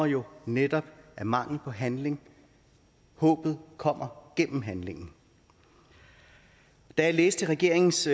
jo netop af mangel på handling håbet kommer gennem handlingen da jeg læste regeringens